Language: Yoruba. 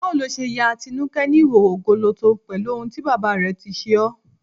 Báwo lo ṣe ya Atinúkẹ́ ní ìhòòhò gọlọtọ pẹ̀lú ohun tí bàbá rẹ̀ tí ṣe ọ́?